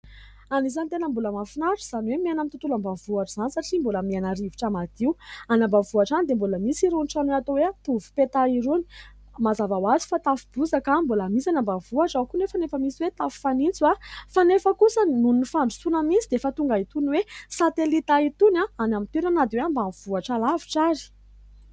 Anisan'ny tena mbola mahafinaritra izany hoe miaina amin'ny tontolo ambanivohitra izany satria mbola miaina rivotra madio. Any ambanivohitra any dia mbola misy irony trano atao hoe tovopeta irony. Mazava ho azy fa tafo bozaka mbola misy any ambanivohitra ao koa anefa ny tafo fanitso fa nefa kosa noho ny fandrosoana misy fa tonga itony satelita itony any amin'ny toerana na dia ambanivohitra lavitra aza.